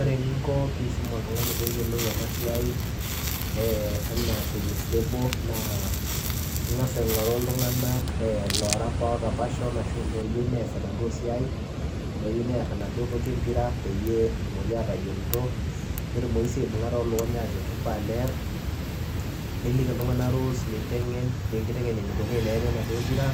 Ore eninko peyiee iisum oltunganii peyiee eyilou ena siai ena tennis table naa ingas aingoruu ilntunganak oota passion oyieu nes enaduo siai laduo oar enaduo pira netumoki sii atayiolito aibunga too lukuny ajoo kifaa nerr niliki ilntunganak rules nintengen enikoni tenerii enaduo pira